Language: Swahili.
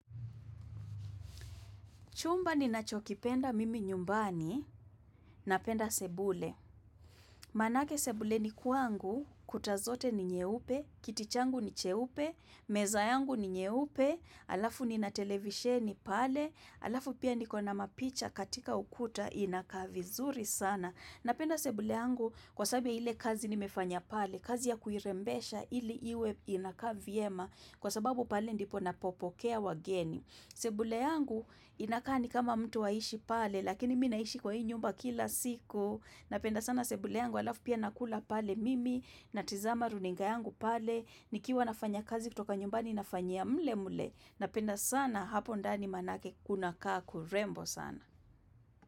Chumba ninachokipenda mimi nyumbani napenda sebule. Manake sebuleni kwangu, kuta zote ni nyeupe, kiti changu ni che pe, meza yangu ni nyeupe, alafu nina televisheni pale, alafu pia niko na mapicha katika ukuta inaka vizuri sana. Napenda sebule yangu kwasababu ya ile kazi nimefanya pale, kazi ya kuirembesha ili iwe inakaa vyema kwa sababu pale ndipo napopokea wageni. Sebule yangu inakaa ni kama mtu aishi pale, lakini mimi naishi kwa hii nyumba kila siku, napenda sana sebule yangu alafu pia nakula pale mimi, natizama runinga yangu pale, nikiwa nafanya kazi kutoka nyumbani nafanyia mle mle, napenda sana hapo ndani manake kuna kaa kurembo sana.